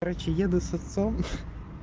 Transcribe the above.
короче еду с отцом ха-ха